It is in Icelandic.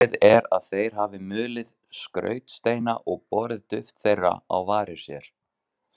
Talið er að þeir hafi mulið skrautsteina og borið duft þeirra á varir sér.